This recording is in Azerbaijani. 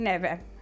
Nəvəm.